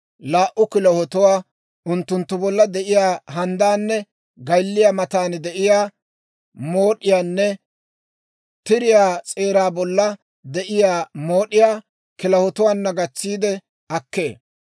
laa"u kilahotuwaa, unttunttu bolla de'iyaa handdaanne gaylliyaa matan de'iyaa mood'iyaanne tiriyaa s'eeraa bolla de'iyaa mood'iyaa kilahotuwaana gatsiide akkee.